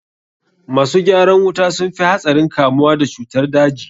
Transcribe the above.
Masu gyaran wuta sun fi hatsarin kamuwa da cutar daji.